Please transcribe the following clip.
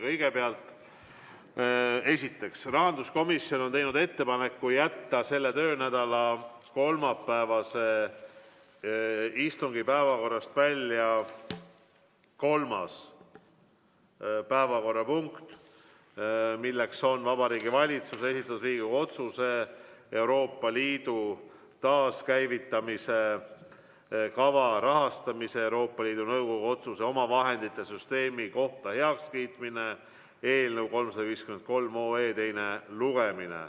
Kõigepealt, rahanduskomisjon on teinud ettepaneku jätta selle töönädala kolmapäevase istungi päevakorrast välja kolmas päevakorrapunkt, milleks on Vabariigi Valitsuse esitatud Riigikogu otsuse "Euroopa Liidu taaskäivitamise kava rahastamise ja Euroopa Liidu Nõukogu otsuse omavahendite süsteemi kohta heakskiitmine" eelnõu 353 teine lugemine.